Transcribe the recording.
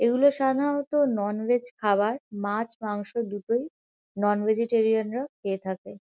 এগুলো সাধারণত নন-ভেজ খাবার। মাছ মাংস দুটোই। নন-ভেজিটেরিয়ান -রা খেয়ে থাকে।